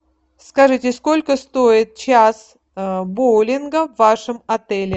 скажите сколько стоит час боулинга в вашем отеле